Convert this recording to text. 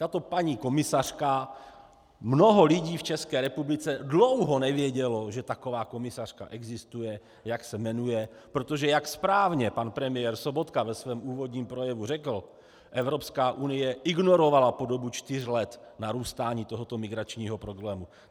Tato paní komisařka - mnoho lidí v České republice dlouho nevědělo, že taková komisařka existuje, jak se jmenuje, protože jak správně pan premiér Sobotka ve svém úvodním projevu řekl, Evropská unie ignorovala po dobu čtyř let narůstání tohoto migračního problému.